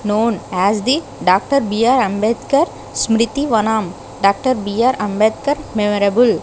known as the doctor B_R ambedkar smritivanam doctor B_R ambedkar memorable.